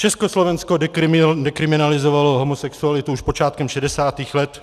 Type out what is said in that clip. Československo dekriminalizovalo homosexualitu už počátkem 60. let.